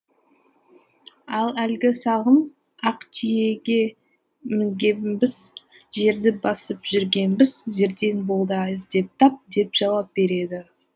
ал әлгі сағым ақ түйеге мінгенбіз жерді басып жүргенбіз зердең болса іздеп тап деп жауап береді